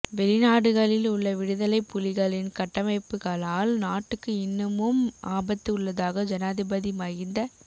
வெளிநாடுகளில் உள்ள விடுதலைப் புலிகளின் கட்டமைப்புக்களால் நாட்டுக்கு இன்னமும் ஆபத்து உள்ளதாக ஜனாதிபதி மகிந்த